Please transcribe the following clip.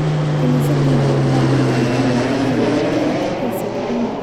Kaniisaddu waxay u baahan tahay inay lacagteeda ku kaydsato bangiga.